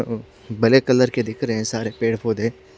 अ- black colour के दिख रहे है सारे पेड़ पोधे--